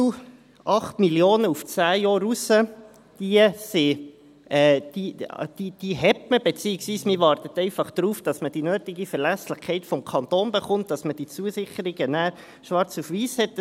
Die Mittel von 8 Mio. Franken auf zehn Jahre hinaus hat man, beziehungsweise man wartet darauf, dass man die nötige Verlässlichkeit des Kantons erhält, damit man diese Zusicherungen dann schwarz auf weiss hat.